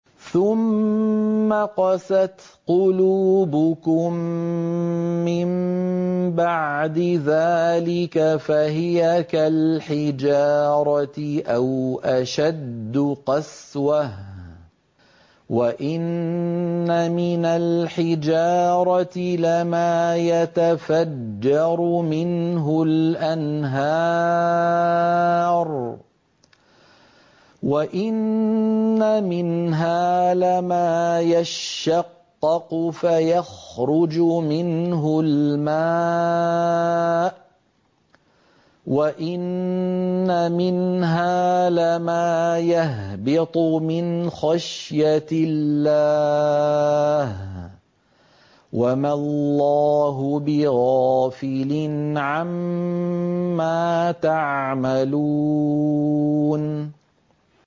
ثُمَّ قَسَتْ قُلُوبُكُم مِّن بَعْدِ ذَٰلِكَ فَهِيَ كَالْحِجَارَةِ أَوْ أَشَدُّ قَسْوَةً ۚ وَإِنَّ مِنَ الْحِجَارَةِ لَمَا يَتَفَجَّرُ مِنْهُ الْأَنْهَارُ ۚ وَإِنَّ مِنْهَا لَمَا يَشَّقَّقُ فَيَخْرُجُ مِنْهُ الْمَاءُ ۚ وَإِنَّ مِنْهَا لَمَا يَهْبِطُ مِنْ خَشْيَةِ اللَّهِ ۗ وَمَا اللَّهُ بِغَافِلٍ عَمَّا تَعْمَلُونَ